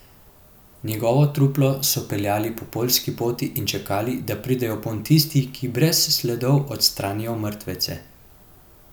Njegovo truplo so peljali po poljski poti in čakali, da pridejo ponj tisti, ki brez sledov odstranijo mrtvece.